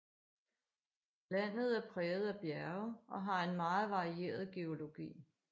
Landet er præget af bjerge og har en meget varieret geologi